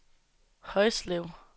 Højslev